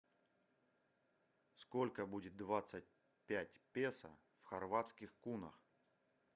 сколько будет двадцать пять песо в хорватских кунах